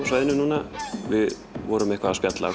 svæðinu við vorum eitthvað að spjalla og